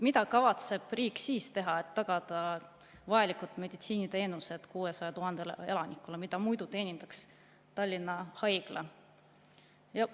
Mida kavatseb riik teha, et siis tagada vajalikud meditsiiniteenused 600 000 elanikule, keda muidu teenindaks Tallinna Haigla?